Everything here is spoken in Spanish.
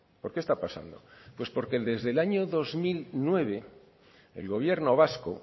por qué está pasando pues porque desde el año dos mil nueve el gobierno vasco